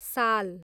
साल